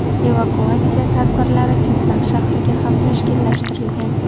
Evakuatsiya tadbirlari Jizzax shahriga ham tashkillashtirilgan.